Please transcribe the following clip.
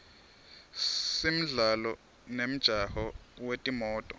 simdlalo nemjaho wetimoto